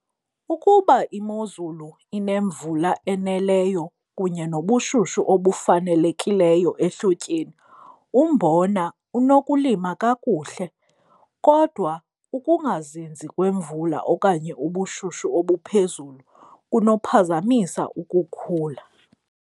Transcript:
Ukuba imozulu inemvula eneleyo kunye nobushushu obufanelekileyo ehlotyeni umbona unokulima kakuhle kodwa ukungazinzi kwemvula okanye ubushushu obuphezulu kunophazamisa ukukhula.